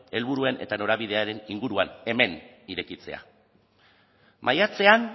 helburuen eta norabidearen inguruan hemen irekitzea maiatzean